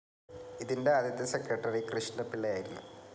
ഇതിൻ്റെ ആദ്യത്തെ സെക്രട്ടറി കൃഷ്ണപിള്ളയായിരുന്നു.